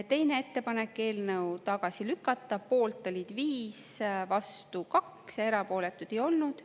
Teine ettepanek, eelnõu tagasi lükata, poolt 5, vastu 2, erapooletuid ei olnud.